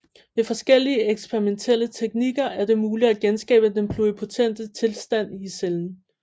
Ved forskellige eksperimentelle teknikker er det muligt at genskabe den pluripotente tilstand i cellen